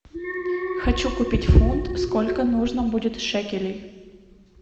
хочу купить фунт сколько нужно будет шекелей